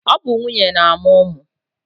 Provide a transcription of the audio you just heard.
ọ bụ nwunye na-amụ ụmụ